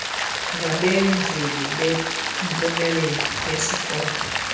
ngabenzeli bempumelelo yezikolo